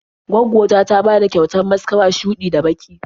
Gwaggo ta ta bani kyautar maskara shuɗi da baƙi.